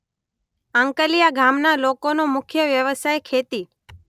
આંકલીયા ગામના લોકોનો મુખ્ય વ્યવસાય ખેતી